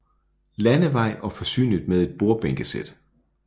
Landevej og forsynet med et bordbænkesæt